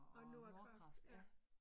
Og Nordkraft ja